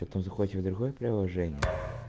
потом заходите в другое приложение